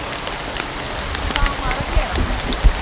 Hvað á maður að gera?